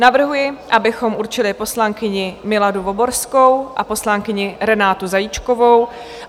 Navrhuji, abychom určili poslankyni Miladu Voborskou a poslankyni Renátu Zajíčkovou.